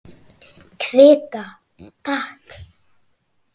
Kvitta, takk!